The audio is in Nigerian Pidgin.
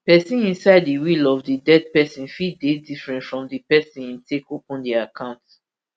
pesin inside di will of di dead pesin fit dey different from di pesin im take open di account